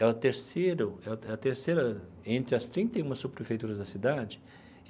É a terceiro é é a terceira entre as trinta e uma subprefeituras da cidade.